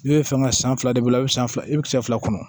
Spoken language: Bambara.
I bɛ fɛ ka san fila de bɔ e bɛ san fila i bɛ kisɛ fila kɔnɔ